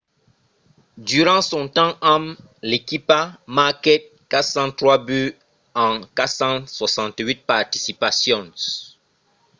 durant son temps amb l'equipa marquèt 403 buts en 468 participacions